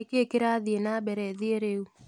ni kĩĩ kĩrathĩe nambere thĩĩ riu